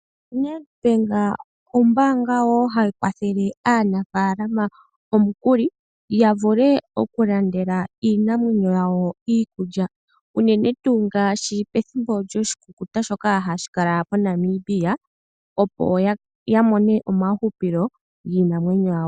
Nedbank ombaanga wo hayi kwathele aanafaalama omukuli ya vule oku landela iinamwenyo yawo iikulya, unene tuu ngaashi pethimbo lyoshikukuta shoka hashi kala pOnamibia opo ya mone omauhupilo giinamwenyo yawo.